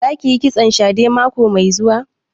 Za ki yi kitson shadè mako mai zuwa?